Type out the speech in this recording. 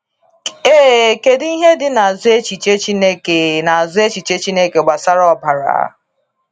Ee, kedu ihe dị n’azụ echiche Chineke n’azụ echiche Chineke gbasara ọbara?